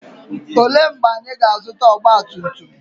Olee mgbe anyị ga-azụta ọgba tum tum?